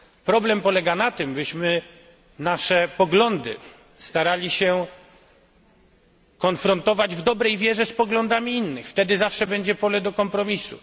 Problem polega na tym, byśmy nasze poglądy starali się konfrontować w dobrej wierze z poglądami innych wtedy zawsze będzie pole do kompromisu.